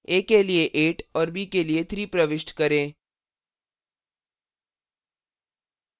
a के लिए 8 और b के लिए 3 प्रविष्ट करें